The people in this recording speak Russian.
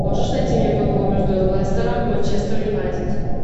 можешь найти мне футбол между лестером и манчестер юнайтед